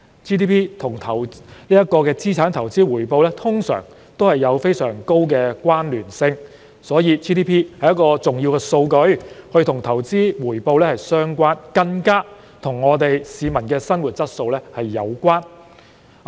GDP 與資產投資回報通常都有非常高的關聯性，因此 GDP 是一項重要的數據，與投資回報相關，更與市民的生活質素有關。